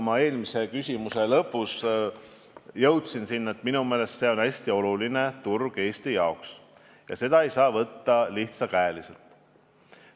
Ma eelmise vastuse lõpus jõudsin selleni, et minu meelest on see Eestile hästi oluline turg ja seda ei saa võtta kergekäeliselt.